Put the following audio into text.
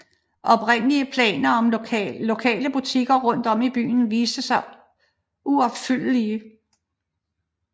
Oprindelige planer om lokale butikker rundt om i byen viste sig uopfyldelige